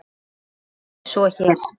Það er ekki svo hér.